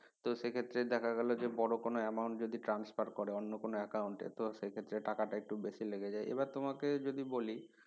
তো সেক্ষেত্রে দেখা গেলো যে বড় কোনো amount যদি transfer করে অন্য কোনো একাউন্টে তো সেক্ষেত্রে টাকাটা একটু বেশি লেগে যায় আবার তোমাকে যদি বলি